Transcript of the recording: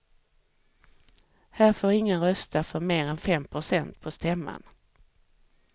Här får ingen rösta för mer än fem procent på stämman.